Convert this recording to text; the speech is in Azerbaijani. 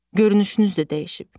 Görünüşünüz də dəyişib.